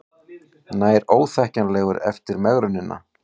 Nær óþekkjanlegur eftir megrunina